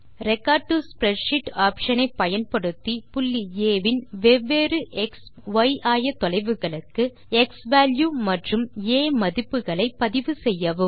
record to spreadsheet option ஐ பயன்படுத்தி புள்ளி ஆ வின் வெவ்வேறு எக்ஸ் மற்றும் ய் ஆயத்தொலைவுகளுக்கு க்ஸ்வால்யூ மற்றும் ஆ மதிப்புகளை பதிவு செய்யவும்